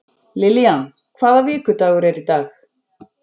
Lillian, hvaða vikudagur er í dag?